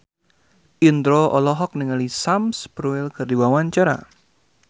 Indro olohok ningali Sam Spruell keur diwawancara